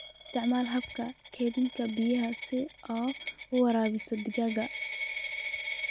Isticmaal habka kaydinta biyaha si aad u waraabiso digaagga.